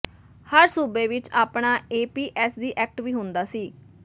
ਹਰ ਸੂਬੇ ਵਿਚ ਆਪਣਾ A P S C act ਵੀ ਹੁੰਦਾ ਸੀ